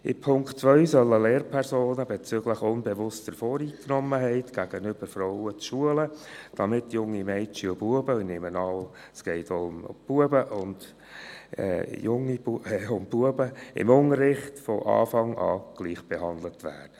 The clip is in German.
Gemäss Punkt 2 sollen Lehrpersonen bezüglich unbewusster Voreingenommenheit gegenüber Frauen geschult werden, damit junge Mädchen und Knaben – und ich nehme an, es gehe auch um Knaben – im Unterricht von Anfang an gleichbehandelt werden.